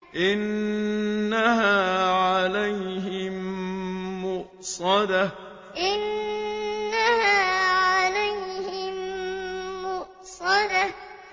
إِنَّهَا عَلَيْهِم مُّؤْصَدَةٌ إِنَّهَا عَلَيْهِم مُّؤْصَدَةٌ